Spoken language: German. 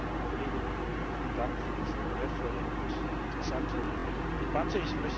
Zunächst einmal an die Kolleginnen und Kollegen vielen Dank für diese wertvolle und interessante Debatte.